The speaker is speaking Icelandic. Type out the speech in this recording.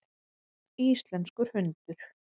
Íslenskur hundur.